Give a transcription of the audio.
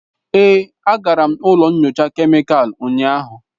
Èé, agara m ụlọ nyocha kemịkalụ ụnyahụ.